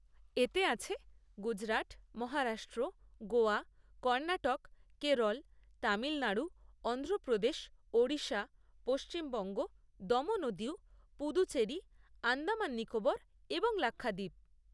এতে আছে গুজরাট, মহারাষ্ট্র, গোয়া, কর্ণাটক, কেরল, তামিলনাড়ু, অন্ধ্রপ্রদেশ, ওড়িশা, পশ্চিমবঙ্গ, দমন ও দিউ, পুদুচেরি, আন্দামান নিকোবর এবং লাক্ষাদ্বীপ।